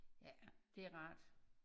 Ja det er rart